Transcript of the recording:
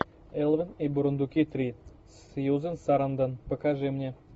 элвин и бурундуки три с сьюзен сарандон покажи мне